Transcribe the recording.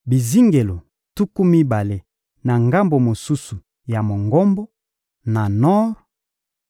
bizingelo tuku mibale na ngambo mosusu ya Mongombo, na nor,